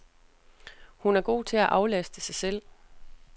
Hun er god til at aflaste sig selv.